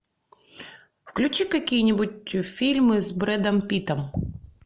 включи какие нибудь фильмы с брэдом питтом